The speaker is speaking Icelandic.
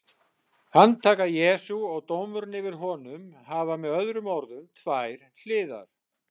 Handtaka Jesú og dómurinn yfir honum hafa með öðrum orðum tvær hliðar.